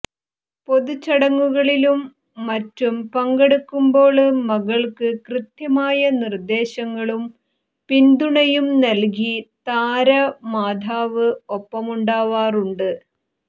പൊതുചടങ്ങുകളിലും മറ്റും പങ്കെടുക്കുമ്പോള് മകള്ക്ക് കൃത്യമായ നിര്ദേശങ്ങളും പിന്തുണയും നല്കി താരമാതാവ് ഒപ്പമുണ്ടാവാറുണ്ട്